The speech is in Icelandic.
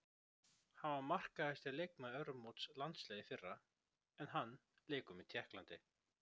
Hann var markahæsti leikmaður Evrópumóts landsliða í fyrra en hann leikur með Tékklandi.